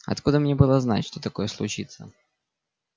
откуда мне было знать что такое случится